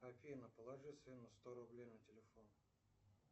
афина положи сыну сто рублей на телефон